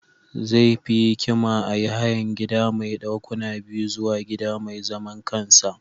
Zai fi hikima a yi hayan gida mai dakuna biyu zuwa gida mai zaman kansa.